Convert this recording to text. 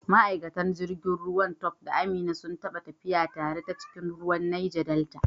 Ma’aikatan jirgin ruwa Tope da Amina sun taɓa tafiya tare ta cikin ruwan Neja Delta.